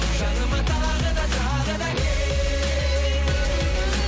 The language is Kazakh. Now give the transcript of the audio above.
жаныма тағы да тағы да кел